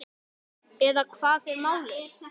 Eða hvað er málið?